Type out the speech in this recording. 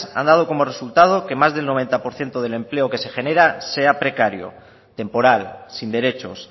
han dado como resultado que más del noventa por ciento del empleo que se genera sea precario temporal sin derechos